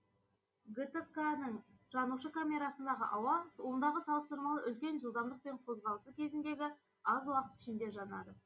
гтқ ның жанушы камерасындағы ауа ондағы салыстырмалы үлкен жылдамдықпен қозғалысы кезіндегі аз уақыт ішінде жанады